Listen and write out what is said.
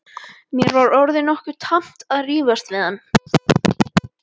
Mér var orðið nokkuð tamt að rífast við hann.